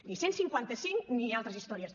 ni cent i cinquanta cinc ni altres històries